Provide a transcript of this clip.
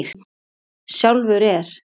Sjálfur er